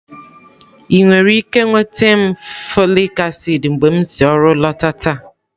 Ị nwere ike nweta m folik acid mgbe m si ọrụ lọta taa?